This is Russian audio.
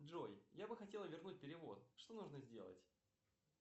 джой я бы хотел вернуть перевод что нужно сделать